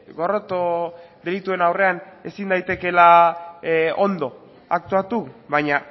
gorroto delituen aurrean ezin daitekela ondo aktuatu baina